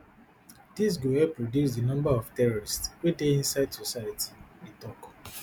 dis go help reduce di number of terrorists wey dey inside society e tok